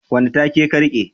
wane take ka rike